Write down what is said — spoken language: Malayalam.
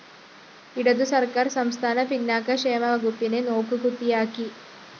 ഇടതുസര്‍ക്കാര്‍ സംസ്ഥാന പിന്നാക്ക ക്ഷേമവകുപ്പിനെ നോക്ക് കുത്തിയാക്കി